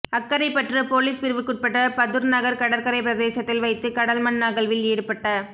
Akkaraipattu police பிரிவுக்குட்பட்ட பதுர்நகர் கடற்கரை பிரதேசத்தில் வைத்து கடல் மண் அகழ்வில் ஈடுபட்ட